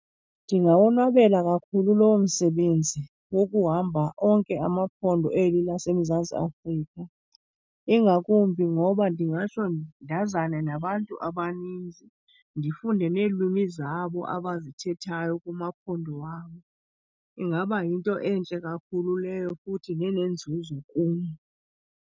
Ndingawonwabela kakhulu lowo msebenzi wokuhamba onke amaphondo eli laseMzantsi Afrika. Ingakumbi ngoba ndingatsho ndazane nabantu abaninzi, ndifunde neelwimi zabo abazithethayo kumaphondo wabo. Ingaba yinto entle kakhulu leyo futhi nenenzuzo kum.